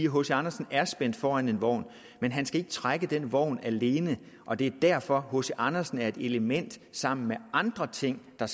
hc andersen er spændt for en vogn men han skal ikke trække den vogn alene og det er derfor at hc andersen er et element sammen med andre ting der